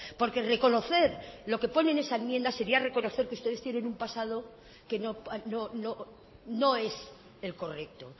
porque reconocer lo que pone en esa enmienda sería reconocer que ustedes tienen un pasado que no es el correcto